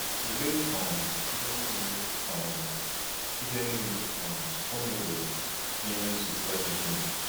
Tụlee um ihe niile um ihe niile um ọ meworo n’ime nzukọ ya dum!